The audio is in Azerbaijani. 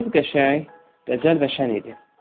Qız qəşəng, dəcəl və şən idi.